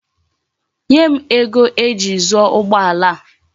Nye m ego eji zuo ugbo ala a.